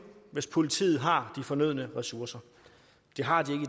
hvis politiet har fornødne ressourcer det har de